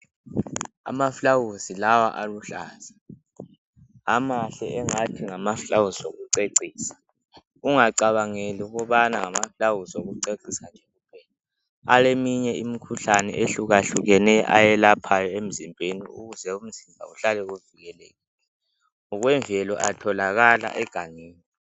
Amaflawusi lawa aluhlaza. Amahle engathi ngamaflawuzi okucecisa. Ungacabangeli ukubana ngamaflawuzi okucecisa nje kuphela. Aleminye imikhuhlane eyehlukehlukeneyo ayelaphayo emzimbeni ukuze umzimba uhlale uhlale evikelekile. Ngokwemvelo atholakala egangeni